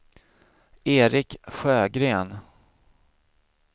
Eric Sjögren